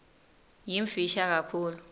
yimfisha kakhulu